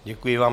Děkuji vám.